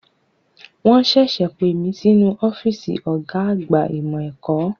Wọn ṣẹ̀ṣẹ̀ pè mí sínú ọ́fíìsì ọ̀gá àgbà ìmọ̀ ẹ̀kọ́.